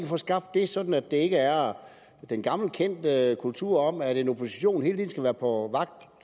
få skabt det sådan at det ikke er den gammelkendte kultur om at en opposition hele tiden skal være på vagt